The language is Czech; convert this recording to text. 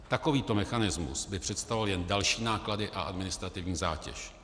Takovýto mechanismus by představoval jen další náklady a administrativní zátěž.